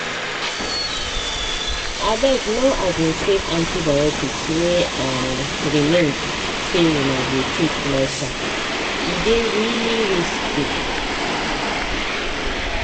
abegno um save antibiotics wey um remain say una go take latere dey really risky.